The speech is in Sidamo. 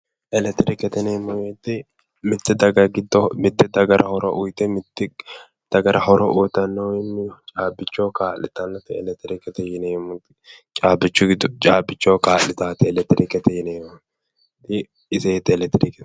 Elektirikete yineemmo woyte mitte daga giddo mitte dagara horo uyte mitte dagara horo uyitanno woyimmi caabbichoho kaa'litannote elektrikete yineemmorichi caabbichoho kaa'litaate iseeti electrike